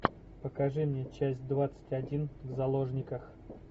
покажи мне часть двадцать один в заложниках